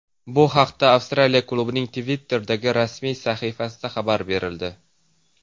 Bu haqda Avstraliya klubining Twitter’dagi rasmiy sahifasida xabar berildi .